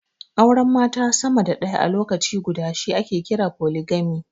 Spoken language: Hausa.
Auren mata sama da ɗaya a lokaci guda shi ake kira foligami.